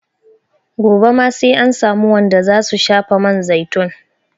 Gobe ma sai an samu wanda za su shafa man zaitun.